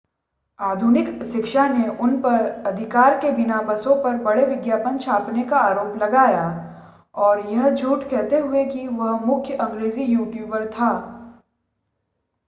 आधुनिक शिक्षा ने उन पर अधिकार के बिना बसों पर बड़े विज्ञापन छापने का आरोप लगाया और यह झूठ कहते हुए कि वह मुख्य अंग्रेज़ी ट्यूटर था